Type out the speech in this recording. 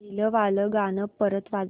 पहिलं वालं गाणं परत वाजव